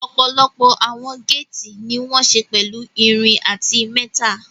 Ọ̀pọ̀lọpọ̀ àwọn géètì ní wọ́n ṣe pẹ̀lú irin àti